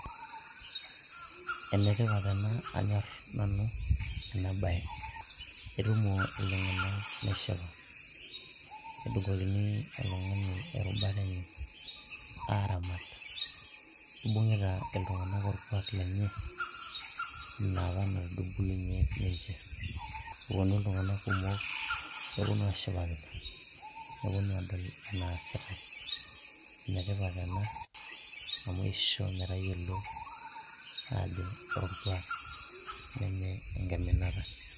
enetipat ena anyorr nanu ena baye etumo iltung'anak neshipa nedung'okini oltung'ani erubata enye aramat ibung'ita iltung'anak orkuak lenye inapa natubulunyie ninche eponu iltung'anak kumok neponu ashipakino neponu adol enasitae enetipat ena amu isho metayiolo ajo ore orkuak neme enkiminata.